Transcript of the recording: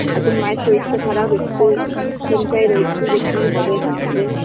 এখন মায়ের শরীরটা খারাপ একটু চিন্তায় রয়েছি যে কি হবে না হবে